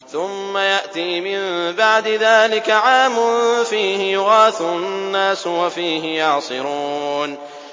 ثُمَّ يَأْتِي مِن بَعْدِ ذَٰلِكَ عَامٌ فِيهِ يُغَاثُ النَّاسُ وَفِيهِ يَعْصِرُونَ